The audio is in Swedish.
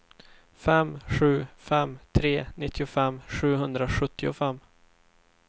fem sju fem tre nittiofem sjuhundrasjuttiofem